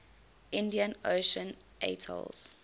indian ocean atolls